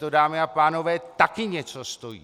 To, dámy a pánové, taky něco stojí!